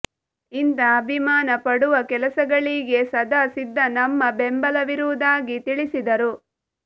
ಇಂಥ ಅಭಿಮಾನ ಪಡುವ ಕೆಲಸಗಳಿಗೆ ಸದಾ ಸಿದ್ಧ ನಮ್ಮ ಬೆಂಬಲವಿರುವುದಾಗಿ ತಿಳಿಸಿದರು